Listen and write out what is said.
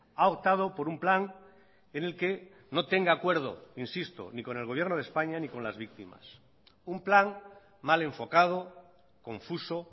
ha optado por un plan en el que no tenga acuerdo insisto ni con el gobierno de españa ni con las víctimas un plan mal enfocado confuso